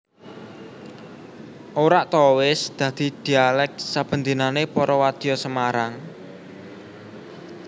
orak too wis dadi dhialèk sabendinané para wadya Semarang